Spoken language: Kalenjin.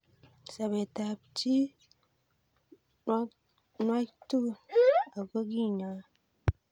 Sobet ab chii nwag'tu ako kinae